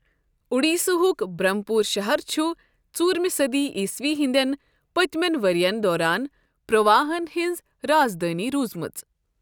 اوڈیٖسہ ہک برٛھمپوٗر شہر چھ ژوٗرمہٕ صٔدی عیٖسوی ہِنٛدِٮ۪ن پٔتِمین ؤرین دوران پوٗروا ہن ہٕنٛز رازدٲنۍ روزمٕژ۔